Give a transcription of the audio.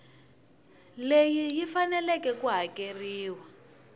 leyi yi faneleke ku hakeriwa